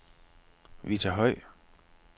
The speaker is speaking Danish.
Vita Høj